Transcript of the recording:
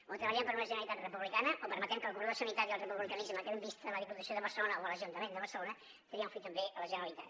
o treballem per una generalitat republicana o permetrem que el cordó sanitari al republicanisme que hem vist a la diputació de barcelona o a l’ajuntament de barcelona triomfi també a la generalitat